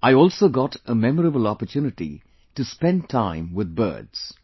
I alsogot a memorable opportunity to spend time with birds